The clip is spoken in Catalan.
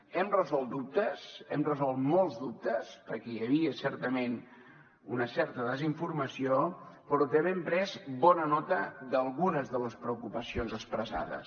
hem resolt dubtes hem resolt molts dubtes perquè hi havia certament una certa desinformació però també hem pres bona nota d’algunes de les preocupacions expressades